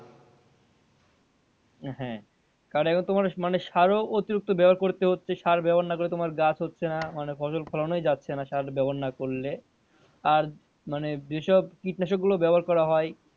হ্যাঁ কারন এখন তোমার মানে সারও অতিরিক্ত ব্যাবহার করতে হচ্ছে সার ব্যাবহার না করে তোমার গাছ হচ্ছে না ফসল ফলানই যাচ্ছে না সার ব্যাবহার না করলে আর মানে যেসব কীটনাশক গুলো ব্যাবহার করা হয়,